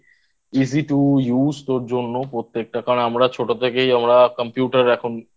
Easy To Use তোর জন্য প্রত্যেকটা কারণ আমরা ছোট থেকেই আমরা Computer এখন Use